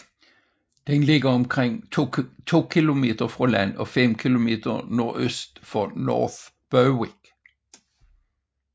Den ligger omkring 2 km fra land og 5 km nordøst for North Berwick